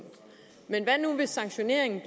men hvad nu hvis sanktioneringen